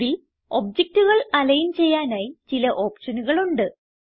ഇതിൽ ഒബ്ജക്റ്റുകൾ അലിഗ്ൻ ചെയ്യാനായി ചില ഓപ്ഷനുകളുണ്ട്